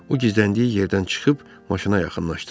O gizləndiyi yerdən çıxıb maşına yaxınlaşdı.